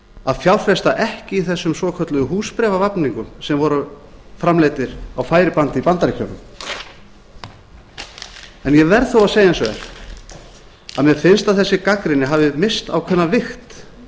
að fjárfesta ekki í þessum svokölluðu húsbréfavafningum sem voru framleiddir á færibandi í bandaríkjunum ég verð þó að segja eins og er að mér finnst að þessi gagnrýni hafi misst ákveðna vigt